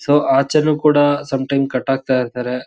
So ಅಚೇನು ಕೂಡ some time ಕಟ್ಟಾಗ್ತಾ ಇರ್ತರೆ .